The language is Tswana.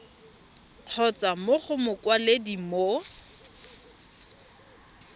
kgotsa mo go mokwaledi mo